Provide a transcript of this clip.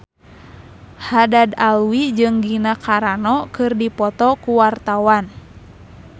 Haddad Alwi jeung Gina Carano keur dipoto ku wartawan